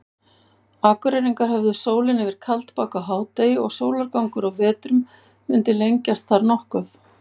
Akureyringar hefðu sólina yfir Kaldbak á hádegi og sólargangur á vetrum mundi lengjast þar nokkuð.